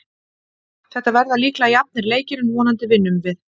Þetta verða líklega jafnir leikir en vonandi vinnum við.